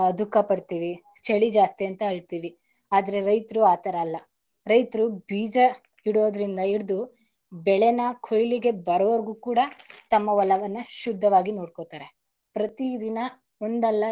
ಹ ದುಃಖ ಪಡ್ತೀವಿ ಚಳಿ ಜಾಸ್ತಿ ಅಂತ ಅಳ್ತೀವಿ ಆದರೆ ರೈತರು ಆತರ ಅಲ್ಲ ರೈತರು ಬೀಜ ಇಡೋದರಿಂದ ಇಡಿದು ಬೆಳೆನ ಕುಯ್ಲಿಕ್ ಬರೋವರ್ಗು ಕೂಡ ತಮ್ಮ ಹೊಲವನ್ನ ಶುದ್ದವಾಗಿ ನೋಡ್ಕೋತಾರೆ ಪ್ರತಿದಿನ.